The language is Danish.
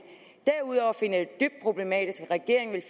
derudover finder jeg dybt problematisk at regeringen